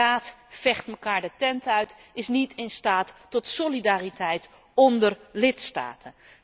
Maar de Raad vecht elkaar de tent uit en is niet in staat tot solidariteit onder lidstaten.